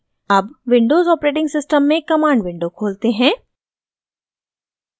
अब Windows os में command window खोलते हैं